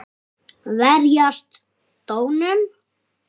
Verjast Dönum!